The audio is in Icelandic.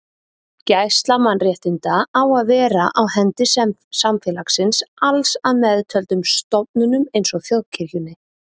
Gæsla mannréttinda á að vera á hendi samfélagsins alls að meðtöldum stofnunum eins og þjóðkirkjunni.